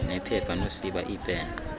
nephepha nosiba iipen